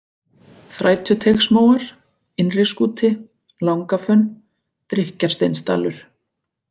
Þrætuteigsmóar, Innri-Skúti, Langafönn, Drykkjarsteinsdalur